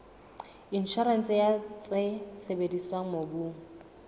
inshorense ya tse sebediswang mobung